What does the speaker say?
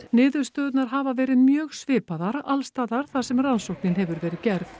niðurstöðurnar hafa verið mjög svipaðar alls staðar þar sem rannsóknin hefur verið gerð